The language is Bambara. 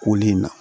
Koli in na